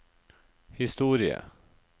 historie